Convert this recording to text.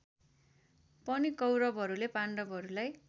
पनि कौरवहरूले पाण्डहरूलाई